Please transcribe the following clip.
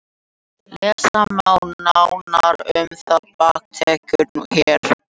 Lesa má nánar um þá bakteríu hér.